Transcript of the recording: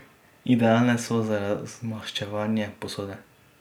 Idealne so za razmaščevanje posode.